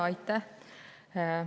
Aitäh!